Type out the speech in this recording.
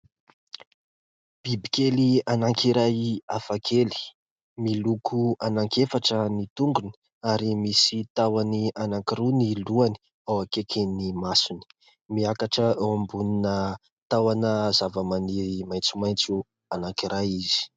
Biby kely anankiray hafa kely : miloko anankiefatra ny tongony ary misy tahony anankiroa ny lohany ao akaikin'ny masony. Miakatra ao ambonina tahona zavamaniry maitsomaitso anankiray izy.